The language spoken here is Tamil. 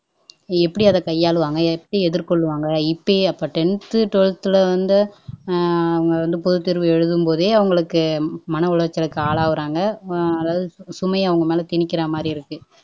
எப்படி அதை கையாள்வாங்க எப்படி எதிர்கொள்வாங்க இப்பயே அப்பா டென்த், ட்வெல்த்துல வந்து உம் பொதுத்தேர்வு ஏழுதும்போதே அவங்களுக்கு மன உளைச்சலுக்கு ஆளாகிறாங்க அஹ் அதாவது சுமையை அவங்க மேல திணிக்கிறமாதிரி இருக்கு